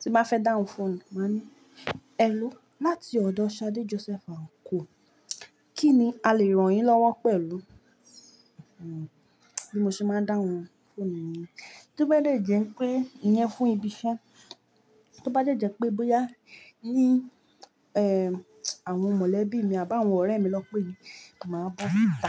Tin ba fẹ́ dáhùn fún mi, màá ní, "ẹ ló láti ọ̀dọ̀ Shade Joseph Àkànó, kí ni a lè ràn yín lọ́wọ́ pẹ̀lú?" Bí mo ṣe máa dáhùn fonu niyen Tó bá dẹ́ jẹ́ pé ìyẹn fún ibi iṣẹ́, tó bá dẹ́ jẹ́ pé bóyá ní ẹ́ àwọn mọ̀lẹ́bí mi àbá àwọn ọ̀rẹ́ mi lọ pé mì, màá bọ́ta